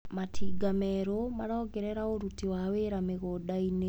Matinga merũ marongerera ũruti wa wĩra mĩgundainĩ.